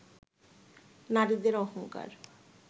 নারীদের অহংকার